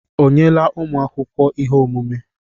O nyela ụmụ akwụkwọ ihe omume?